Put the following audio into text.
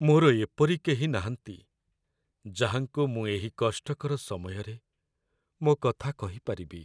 ମୋର ଏପରି କେହି ନାହାନ୍ତି ଯାହାଙ୍କୁ ମୁଁ ଏହି କଷ୍ଟକର ସମୟରେ ମୋ କଥା କହିପାରିବି।